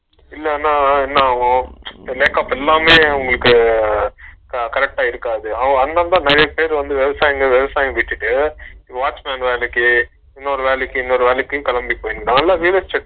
இல்லனா என்ன ஆகும் இந்த makeup இல்லாமயே அவங்களுக்கு connect ஆகிருக்காது அந்தந்த நெறையபேர் விவசாயத்த விட்டிட்டு watchman வேலைக்கு இன்னொரு வேலைக்கு இன்னொரு வேலைக்கு கெளம்பி போயாச்சு நாயெல்லா விட்டாச்சு